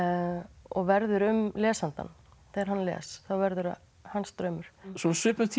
og verður um lesandann þegar hann les þá verður það hans draumur svo á svipuðum tíma